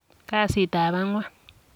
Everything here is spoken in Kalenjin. Kasiit ab agwan.